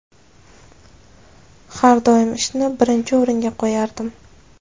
Har doim ishni birinchi o‘ringa qo‘yardim.